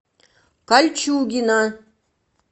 кольчугино